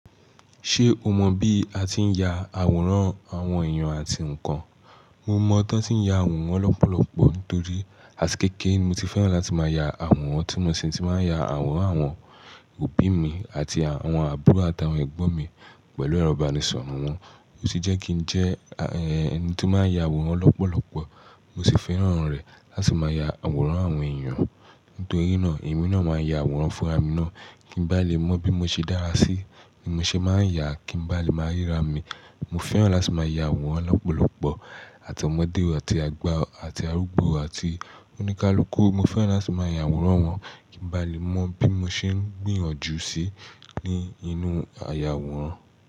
Ṣé o mọ̀ bí a ti ń ya àwòrán àwọn èèyàn àti nǹkan? Mo mọ̀ bọ́ ti ń ya àwòrán lọ́pọ̀lọpọ̀ nítorí àti kékere ni mo ti fẹ́ràn láti máa ya àwòrán, ti mo sì ti máa ń ya àwòrán àwọn òbí mi àti àwọn àbúrò àtàwọn ẹgbọ́n mi pẹ̀lú ẹrọ ìbánisọ̀rọ̀ wọn. Ó sì jẹ́ kí ń jẹ́ ẹni tó máa ń ya àwòrán lọ́pọ̀lọpọ̀ mo sì fẹ́ràn rẹ̀ láti máa ya àwòrán àwọn èèyàn nítorí náà èmi náà máa ń ya àwòrán fún ara mi náà kí n bá lè mọ bí mo ṣe dára sí, bí mo ṣe máa ń yà kí n bá lè máa ríra mi. Mo fẹ́ràn láti máa ya àwòrán lọ́pọ̀lọpọ̀ àti ọmọdé àti àgbà àti arúgbó àti oníkálukú. Mo fẹ́ràn láti máa ya àwòrán wọn kí n bá lè mọ bí mo ṣe ń gbìyànjú sí i ní inú àyàwòrán.